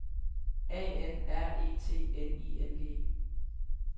A N R E T N I N G